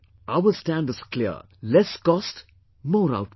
Our stand is clear Less Cost, More Output